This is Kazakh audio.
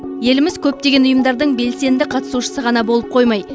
еліміз көптеген ұйымдардың белсенді қатысушысы ғана болып қоймай